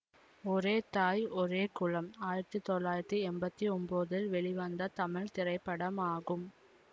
ஒரே தாய் ஒரே குலம் ஆயிரத்தி தொள்ளாயிரத்தி எம்பத்தி ஒன்போதில் வெளிவந்த தமிழ் திரைப்படமாகும்